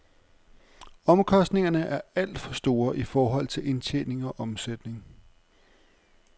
Omkostningerne er alt for store i forhold til indtjening og omsætning.